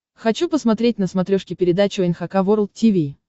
хочу посмотреть на смотрешке передачу эн эйч кей волд ти ви